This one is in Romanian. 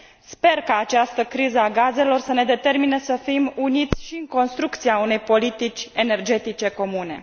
Sper ca această criză a gazelor să ne determine să fim uniți și în construcția unei politici energetice comune.